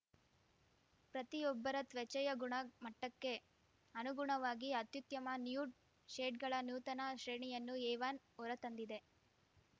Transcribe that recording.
ಪ್ರತಿಯೊಬ್ಬರ ತ್ವಚೆಯ ಗುಣಮಟ್ಟಕ್ಕೆ ಅನುಗುಣವಾಗಿ ಅತ್ಯುತ್ತಮ ನ್ಯೂಡ್‌ ಶೇಡ್‌ಗಳ ನೂತನ ಶ್ರೇಣಿಯನ್ನು ಏವಾನ್‌ ಹೊರತಂದಿದೆ